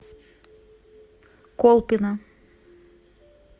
колпино